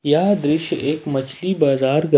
यह दृश्य एक मछली बाजार का--